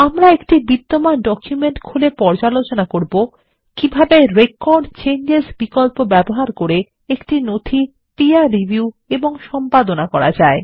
আমরা একটি বিদ্যমান ডকুমেন্ট খুলে পর্যালোচনা করব কিভাবে রেকর্ড চেঞ্জেস বিকল্প ব্যবহার করে একটি নথি পীর রিভিউ এবং সম্পাদনা করা যায়